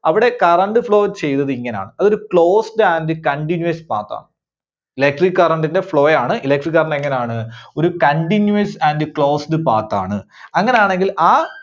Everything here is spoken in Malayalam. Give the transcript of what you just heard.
അവിടെ current flow ചെയ്തത് ഇങ്ങനാണ്. അത് ഒരു closed and continuous path ആണ്. Electric Current ന്റെ flow ആണ് Electric Current എങ്ങനാണ്? ഒരു continuous and closed path ആണ്. അങ്ങനാണെങ്കിൽ ആ